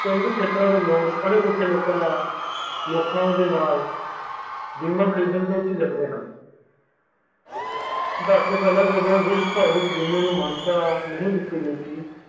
ਪੇਂਡੂ ਖੇਤਰ ਦੇ ਲੋਗ, ਪੜ੍ਹੇ ਲਿਖੇ ਲੋਕਾਂ ਤੋਹ ਬੀਮਾ ਖਰੀਦਧਨ ਤੋਹ ਝਿਜਕਦੇ ਹਨ ਜਦੋਂ ਪਹਿਲੇ ਜਦੋ ਵਿਸ਼ਵ ਭਰ ਵਿਚ ਮਾਨਤਾ ਨਹੀਂ ਦਿਤੀ ਗਈ ਸੀ